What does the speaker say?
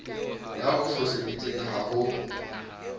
ya o foseditseng ha ho